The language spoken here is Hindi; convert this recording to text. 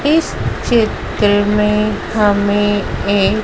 इस चित्र में हमें ए--